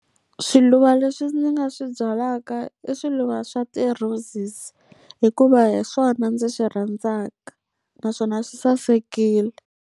Swiluva leswi ndzi nga swi byalaka i swiluva swa ti-roses, hikuva hi swona ndzi swi rhandzaka naswona swi sasekile.